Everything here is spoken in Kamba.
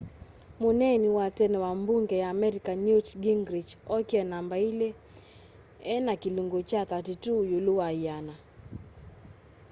muneeni wa tene wa mbunge ya amerika newt gingrich okie namba ili ena kilungu kya 32 ilu wa yiana